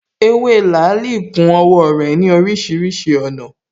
Ewé làálī ku owó rè ní orísirísi ònà